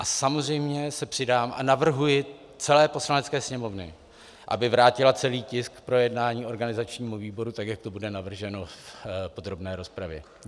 A samozřejmě se přidám a navrhuji celé Poslanecké sněmovně, aby vrátila celý tisk k projednání organizačnímu výboru, tak jak to bude navrženo v podrobné rozpravě.